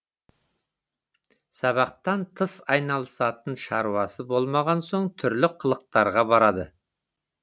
сабақтан тыс айналысатын шаруасы болмаған соң түрлі қылықтарға барады